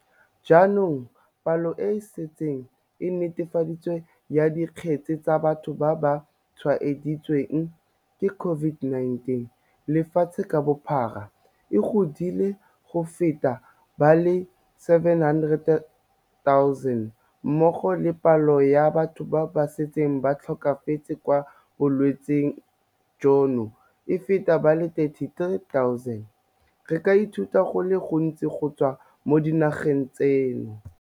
Jaaka palo e e setseng e netefaditswe ya dikgetse tsa batho ba ba tshwaeditsweng ke COVID-19 lefatshe ka bophara e godile go feta ba le 700 000 mmogo le palo ya batho ba ba setseng ba tlhokafetse ka bolwetse jono e feta ba le 33 000, re ka ithuta go le gontsi go tswa mo dinageng tseno.